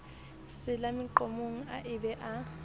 sela meqomong a be a